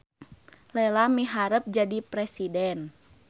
Lela miharep jadi presiden